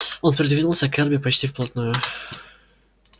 он придвинулся к эрби почти вплотную